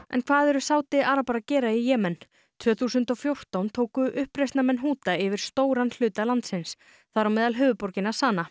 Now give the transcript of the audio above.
en hvað eru Sádi arabar að gera í Jemen tvö þúsund og fjórtán tóku uppreisnarmenn yfir stóran hluta landsins þar á meðal höfuðborgina